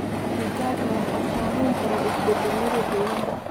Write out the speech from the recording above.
Digaagga waxaa saameyn kara isbeddellada deegaanka.